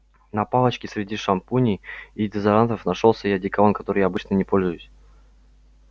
на палочке среди шампуней и дезодорантов нашёлся и одеколон которым я обычно не пользуюсь